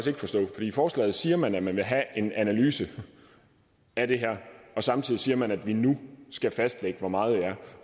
i forslaget siger man at man vil have en analyse af det her og samtidig siger man at vi nu skal fastlægge hvor meget det er